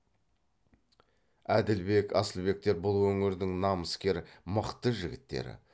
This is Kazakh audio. әділбек асылбектер бұл өңірдің намыскер мықты жігіттері